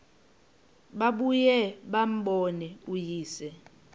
babuye bambone uyise